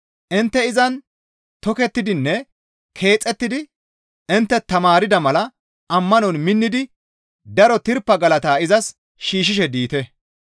Intte izan tokettidinne keexettidi intte tamaarda mala ammanon minnidi daro tirpa galata izas shiishshishe diite.